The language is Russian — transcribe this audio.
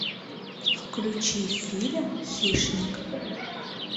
включи фильм хищник